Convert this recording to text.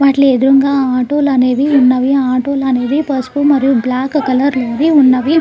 వాటిలి ఎదురుగా ఆటోలు అనేవి ఉన్నవి ఆటోలు అనేవి పసుపు మరియు బ్లాక్ కలర్ లో ఉన్నవి.